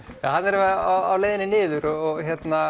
erum við á leiðinni niður og